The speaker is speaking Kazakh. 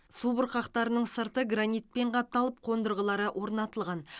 субұрқақтардың сырты гранитпен қапталып қондырғылары орнатылған